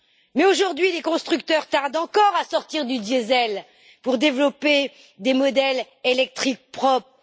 Mais aujourd'hui, les constructeurs tardent encore à sortir du diesel pour développer des modèles électriques propres.